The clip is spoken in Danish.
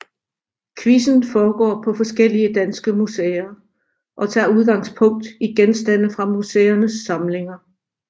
Quizzen foregår på forskellige danske museer og tager udgangspunkt i genstande fra museernes samlinger